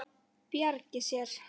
Bjargi sér.